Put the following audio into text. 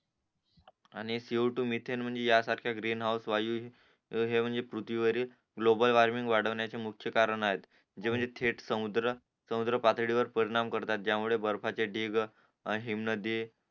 आणि C O two methane म्हणजे या सारख्या ग्रीन हाऊस वायू हि हे म्हणजे पृश्वीवरील ग्लोबल वार्मिंग वाढवण्याचे मुख्य कारण आहे जे म्हणजे थेट समुद्र सामूत्र पातडीवर परिणाम करतात त्या मुळे बर्फाचे ढीग हिम नदी